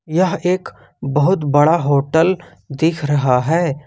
यह एक बहुत बड़ा होटल दिख रहा है।